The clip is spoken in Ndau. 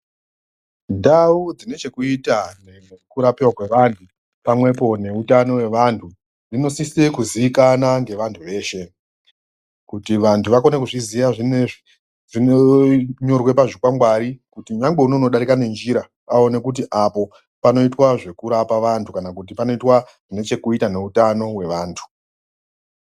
Ndau dzine chekuita nekurapiwa kwevantu pamwepo neutano hwevantu dzinosise kuzikanwa ngevantu veshe, kuti vantu vakone kuzviziva zvinozvi zvinonyorwa pazvikwangwari kuti nyangwe unodari nenjira aone kuti apo panoitwa zvekurapa vantu kana kuti panoitwa zvine chekuita neutano hwevantu.